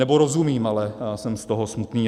Nebo rozumím, ale jsem z toho smutný.